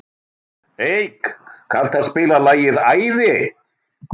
Eik, kanntu að spila lagið „Æði“?